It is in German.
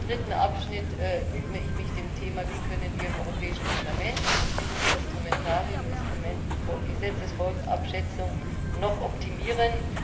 Im dritten Abschnitt widme ich mich dem Thema Wie können wir im Europäischen Parlament das Instrumentarium der Gesetzesfolgenabschätzung noch optimieren?